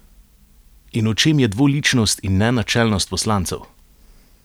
In v čem je dvoličnost in nenačelnost poslancev?